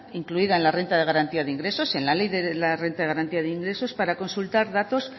incluida en la renta de garantía de ingresos en la ley de renta de garantía de ingresos para consultar datos